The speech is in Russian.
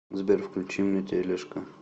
сбер включи мне телешка